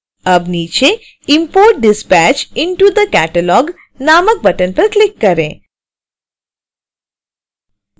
अब नीचे import this batch into the catalog नामक बटन पर क्लिक करें